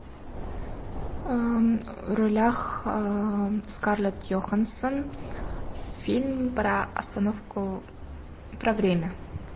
в ролях скарлетт йоханссон фильм про остановку про время